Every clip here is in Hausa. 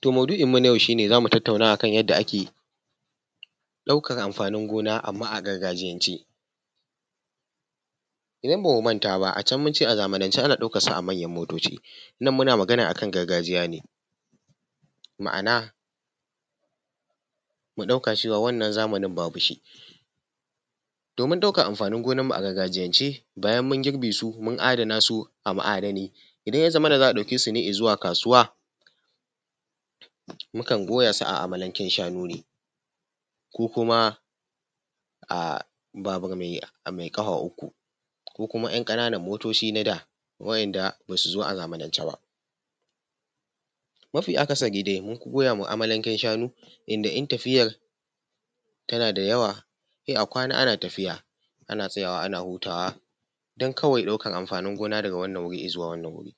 Toh maudu'in mu na yau zamu tatauna a kan yanda ake ɗaukan amfanin gona amma a gargajiyance. Idan bamu manta ba a can mun ce a zamanance ana ɗaukansu a manyan motoci. Nan muna magann a kan gargajiya ne. Ma'ana mu ɗauka cewa wannan zamanin babu shi, domin ɗaukan amfanin gonanmu a gargajiyance bayan mun girbe su, mun adanan su a ma'adanai, idan ya zamana za a ɗauke su izuwa kasuwa, mukan goya su a amalanken shanu ne ko kuma babur mai ƙafa uku ko kuma ‘yan ƙananan motoci na da wa'inda ba su zo a zamanance ba. Mafi akasari dai munfi goya wa amalanken shanu, inda in tafiyan tana da yawa sai a kwana ana tafiya ana tsayawa ana hutawa don kawai ɗaukan amfanin gona daga wanan wuri izuwa wanan wuri.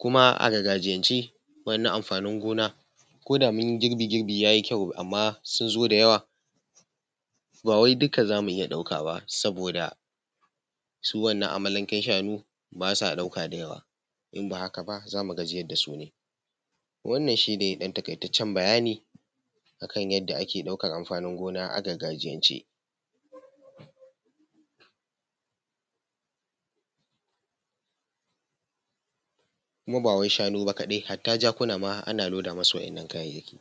Kuma a gargajiyance wa'innan amfanin gona koda mun yi girbi, girbi yayi kyau, amma sun zo da yawa bawai duka zamu iya ɗauka ba saboda su wannan amalanken shanu ba sa ɗauka da yawa. In ba haka ba zamu gajiyar da su ne. Wannan shi ne ɗan taƙaitaccen bayani akan yanda ake ɗaukan amfanin gona a gargajiyance kuma ba wai shanu ba kaɗai hatta jakuna ana loda masu wannan kayayyaki.